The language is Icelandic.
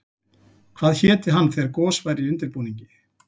Hvað héti hann þegar gos væri í undirbúningi?